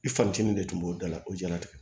I fancinin de tun b'o da la o jɛnatigɛ